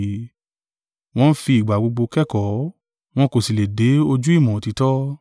Wọ́n ń fi ìgbà gbogbo kẹ́kọ̀ọ́, wọ́n kò sì lè dé ojú ìmọ̀ òtítọ́.